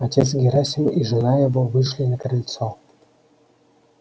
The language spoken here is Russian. отец герасим и жена его вышли на крыльцо